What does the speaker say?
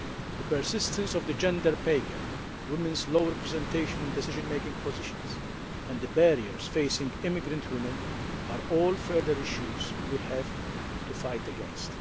The persistence of the gender pay gap, women's lower representation in decision making positions and the barriers facing immigrant women are all further issues we have to fight against.